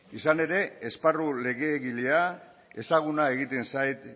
izan ere esparru legegilea ezaguna egiten zait